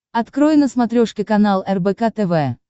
открой на смотрешке канал рбк тв